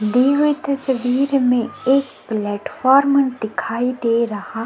दी हुई तस्वीर में एक प्लेटफार्म दिखाई दे रहा--